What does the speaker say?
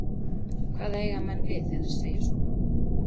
Hvað eiga menn við þegar þeir segja svona?